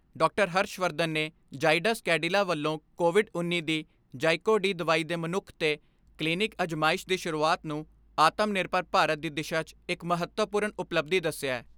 ਹਰਸ਼ ਵਰਧਨ ਨੇ ਜਾਈਡਸ ਕੈਡਿਲਾ ਵੱਲੋਂ ਕੋਵਿਡ ਉੱਨੀ ਦੀ ਜਾਈਕੋ ਡੀ ਦਵਾਈ ਦੇ ਮਨੁੱਖ ਤੇ ਕਲੀਨਿਕ ਅਜਮਾਇਸ਼ ਦੀ ਸ਼ੁਰੂਆਤ ਨੂੰ ਆਤਮ ਨਿਰਭਰ ਭਾਰਤ ਦੀ ਦਿਸ਼ਾ 'ਚ ਇਕ ਮਹੱਤਵਪੂਰਨ ਉਪਲੱਬਧੀ ਦਸਿਐ।